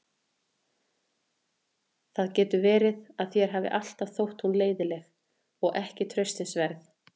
Það getur verið að þér hafi alltaf þótt hún leiðinleg og ekki traustsins verð.